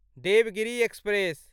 Devgiri express